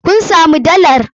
Kun samu dalar?